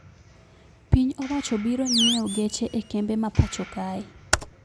Piny owacho biro nyeo geche e kembe ma pacho kae